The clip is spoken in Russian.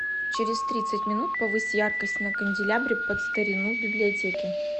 через тридцать минут повысь яркость на канделябре под старину в библиотеке